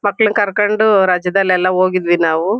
ಮಕ್ಳನ್ ಕರ್ಕೊಂಡು ರಜಾದಲೆಲ್ಲಾ ಹೋಗಿದ್ವಿ ನಾವು.